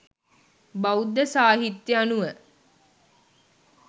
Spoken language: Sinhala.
බෞද්ධ සාහිත්‍ය අනුව